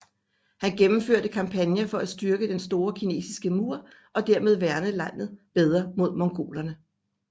Han gennemførte kampagner for at styrke Den store kinesiske mur og dermed værne landet bedre mod mongolerne